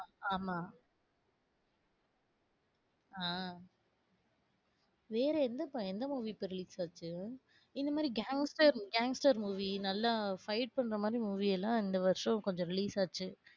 அஹ் ஆமா. ஆஹ் வேற எந்தப்ப எந்த movie இப்ப release ஆச்சு? இந்தமாதிரி gangster, gangster movie நல்லா fights பண்றமாதிரி movie எல்லாம் இந்த வருஷம் கொஞ்சம் release ஆச்சு.